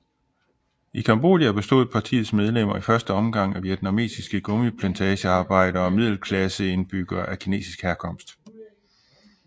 I Cambodja bestod partiets medlemmer i første omgang af vietnamesiske gummiplantagearbejdere og middelklasseindbyggere af kinesisk herkomst